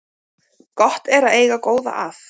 Gott er að eiga góða að